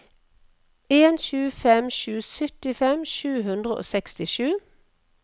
en sju fem sju syttifem sju hundre og sekstisju